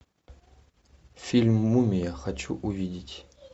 фильм мумия хочу увидеть